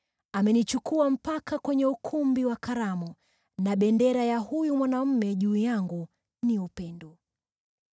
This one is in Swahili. Amenichukua mpaka kwenye ukumbi wa karamu, na bendera ya huyu mwanaume juu yangu ni upendo.